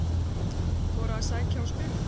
Þora að sækja og spila